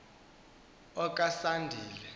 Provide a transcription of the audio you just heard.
okasandile